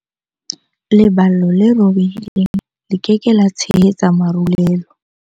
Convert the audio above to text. Leballo le robehileng le ke ke la tshehetsa marulelo.